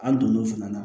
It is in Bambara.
An donn'o fana na